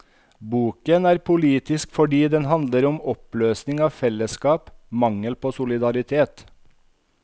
Boken er politisk fordi den handler om oppløsning av fellesskap, mangel på solidaritet.